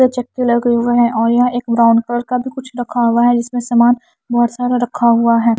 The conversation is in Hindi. चक्के लगे हुए हैं और यहां एक ब्राउन कलर का भी कुछ रखा हुआ है जिसमें सामान बहोत सारा रखा हुआ है।